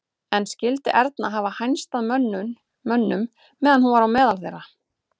En skyldi Erna hafa hænst að mönnum meðan hún var á meðal þeirra?